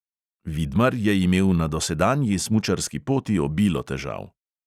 Vidmar je imel na dosedanji smučarski poti obilo težav.